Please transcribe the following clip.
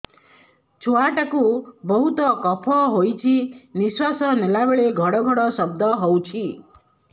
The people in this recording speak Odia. ଛୁଆ ଟା କୁ ବହୁତ କଫ ହୋଇଛି ନିଶ୍ୱାସ ନେଲା ବେଳେ ଘଡ ଘଡ ଶବ୍ଦ ହଉଛି